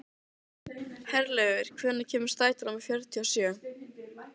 Herlaugur, hvenær kemur strætó númer fjörutíu og sjö?